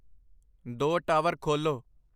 ਦੋ ਟਾਵਰ ਖੋਲ੍ਹੋ